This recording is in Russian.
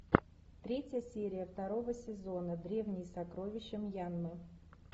третья серия второго сезона древние сокровища мьянмы